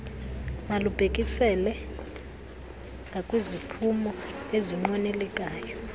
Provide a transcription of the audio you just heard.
malubhekiselele ngakwiziphumo ezinqwenelekayo